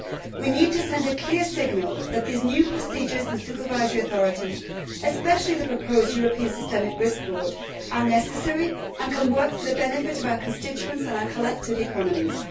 We need to send a clear signal that these new procedures and supervisory authorities, especially the proposed European Systemic Risk Board, are necessary and can work for the benefit of our constituents and our collective economies.